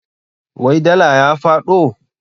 Wai dala ya faɗo?